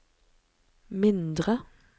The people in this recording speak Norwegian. mindre